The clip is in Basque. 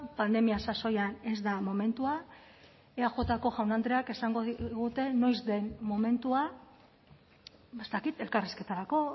pandemia sasoian ez da momentua eajko jaun andreak esango digute noiz den momentua ez dakit elkarrizketarako